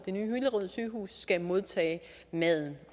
nye hillerød sygehus skal modtage maden